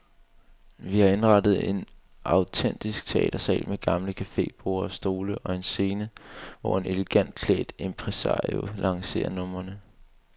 Vi har indrettet en autentisk teatersal med gamle cafeborde og stole og en scene, hvor en elegant klædt impresario lancerer numrene.